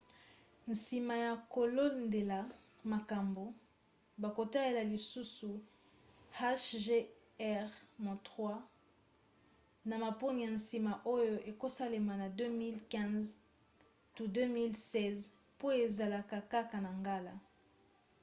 nsima ya kolandela makambo bakotalela lisusu hjr-3 na maponi ya nsima oyo ekosalema na 2015 to 2016 po ezala kaka na ngala